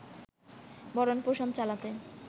ভরণ-পোষণ চালাতে